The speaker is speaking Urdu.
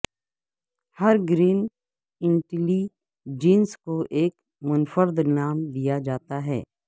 ہر گرین انٹیلی جنس کو ایک منفرد نام دیا جاتا ہے